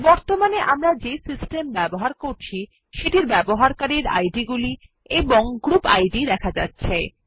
বর্তমানে আমরা যে সিস্টেম ব্যবহার করছি সেটির ব্যবহারকারীদের আইডিগুলি এবং গ্রুপ ID এ দেখা যাচ্ছে